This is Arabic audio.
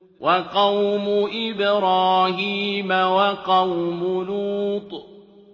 وَقَوْمُ إِبْرَاهِيمَ وَقَوْمُ لُوطٍ